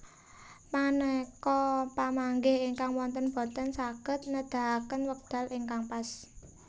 Maneka pamanggih ingkang wonten boten saged nedahaken wekdal ingkang pas